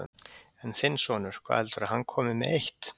En þinn sonur, hvað heldurðu að hann komi með eitt?